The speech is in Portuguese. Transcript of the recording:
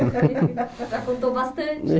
Já contou bastante